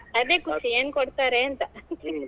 ಅದೇ ಖುಷಿ ಏನ್ ಕೊಡ್ತಾರೆಂತ .